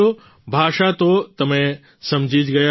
ભાષા તો તમે સમજી જ ગયા હશો